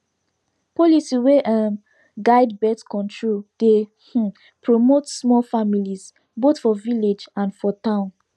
policy wey um guide birth control dey um promote small families both for village and for town